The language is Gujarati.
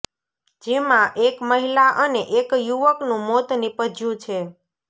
જેમાં એક મહિલા અને એક યુવકનું મોત નિપજ્યું છે